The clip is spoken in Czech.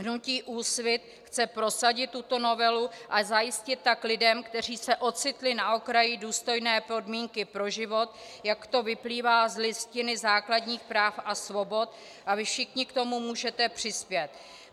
Hnutí Úsvit chce prosadit tuto novelu a zajistit tak lidem, kteří se ocitli na okraji, důstojné podmínky pro život, jak to vyplývá z Listiny základních práv a svobod, a vy všichni k tomu můžete přispět.